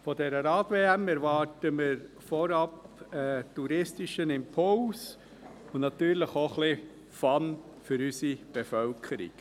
Von dieser Rad-WM erwarten wir vorab einen touristischen Impuls und natürlich auch ein wenig Fun für unsere Bevölkerung.